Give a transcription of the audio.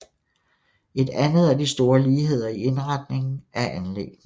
Et andet er de store ligheder i indretningen af anlæggene